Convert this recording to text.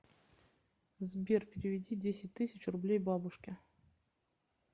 сбер переведи десять тысяч рублей бабушке